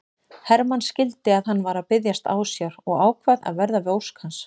Hermann skildi að hann var að biðjast ásjár og ákvað að verða við ósk hans.